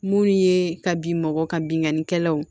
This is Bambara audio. Mun ye ka bin mɔgɔ ka binkannikɛlaw ye